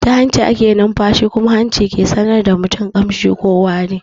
Ta hanci ake nunfashi kuma hanci ke sanar da mutum kamshi ko wari.